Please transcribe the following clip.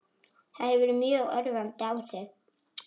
Það hefur mjög örvandi áhrif.